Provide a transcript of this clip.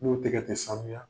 N'o tɛgɛ tɛ sanuya